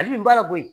Hali bi n bala koyi